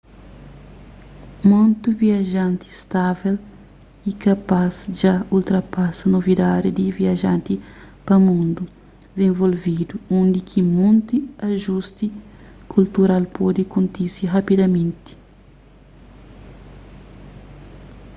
monti viajanti stável y kapaz dja ultrapasa novidadi di viajens pa mundu dizenvolvidu undi ki monti ajusti kultural pode kontise rapidamenti